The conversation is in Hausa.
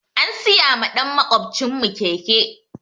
An siya ma ɗan makwaɓcin mu keke